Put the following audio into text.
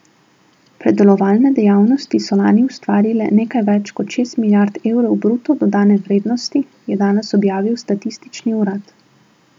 Predelovalne dejavnosti so lani ustvarile nekaj več kot šest milijard evrov bruto dodane vrednosti, je danes objavil statistični urad.